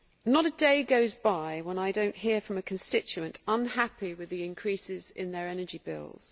Not a day goes by when I do not hear from a constituent who is unhappy with the increases in their energy bills.